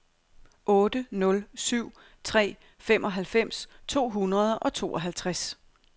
otte nul syv tre femoghalvfems to hundrede og tooghalvtreds